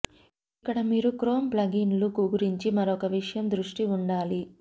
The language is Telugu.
ఇక్కడ మీరు క్రోమ్ ప్లగిన్లు గురించి మరొక విషయం దృష్టి ఉండాలి